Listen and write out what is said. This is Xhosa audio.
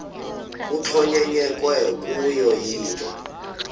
kuxhonyekekwe kuyo yinto